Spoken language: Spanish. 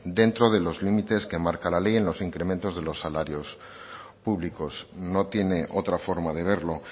dentro de los límites que marca la ley en los incrementos de los salarios públicos no tiene otra forma de verlo